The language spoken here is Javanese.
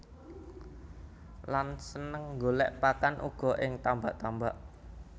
Lan seneng golèk pakan uga ing tambak tambak